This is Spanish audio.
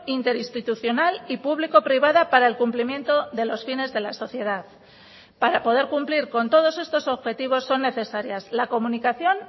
interinstitucional y público privada para el cumplimiento de los fines de la sociedad para poder cumplir con todos estos objetivos son necesarias la comunicación